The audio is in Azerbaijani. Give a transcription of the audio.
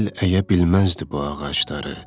Yel əyə bilməzdi bu ağacları,